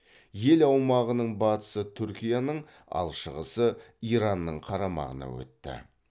ел аумағының батысы түркияның ал шығысы иранның қарамағына өтті